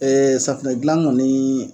Ee safunɛ dilan kɔni